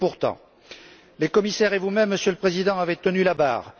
Pourtant, les commissaires et vous même, Monsieur le Président, avez tenu la barre.